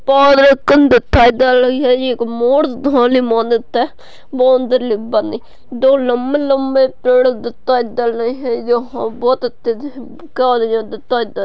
पौधे भी दिखाई दे रही है एक दो लंबे-लंबे पेड़ दिखाई दे रही है यहा बहुत अच्छे से--